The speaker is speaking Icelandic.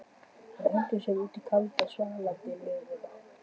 Þeir hentu sér út í kalda og svalandi laugina.